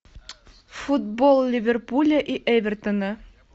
футбол ливерпуля и эвертона